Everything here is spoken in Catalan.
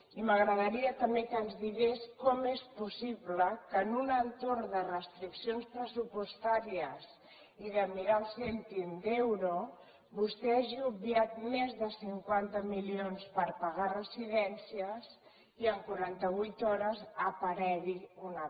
i m’agradaria també que ens digués com és possible que en un entorn de restriccions pressupostàries i de mirar el cèntim d’euro vostè hagi obviat més de cinquanta milions per pagar residències i en quaranta vuit hores n’aparegui una part